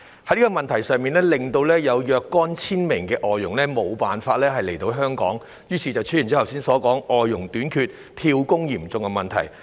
在這個問題上，已有數千名外傭無法來港，於是出現剛才所說的外傭短缺、"跳工"嚴重問題。